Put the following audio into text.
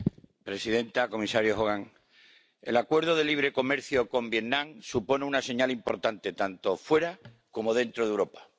Señora presidenta, comisario Hogan, el acuerdo de libre comercio con Vietnam supone una señal importante, tanto fuera como dentro de Europa.